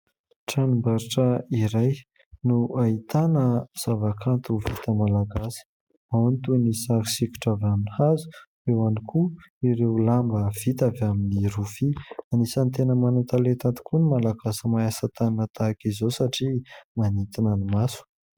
Tranom-barotra iray no ahitana zavakanto vita malagasy : ao ny toy ny sary sokitra vita amin'ny hazo, eo ihany koa ireo lamba vita avy amin'ny rofia. Anisan'ny tena manan-talenta tokoa no Malagasy mahay asa tanana tahaka izao satria manintona ny maso.